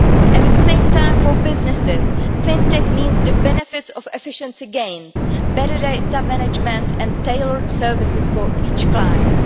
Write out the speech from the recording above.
At the same time, for businesses, Fin Tech means the benefits of efficiency gains, better data management and tailored services for each client.